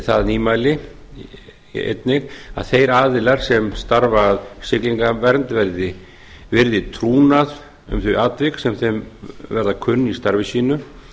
það nýmæli einnig að eir aðilar sem starfa að siglingavernd virði trúnað um þau atvik sem þeim verða kunn í starfi sínu